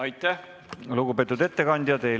Aitäh, lugupeetud ettekandja!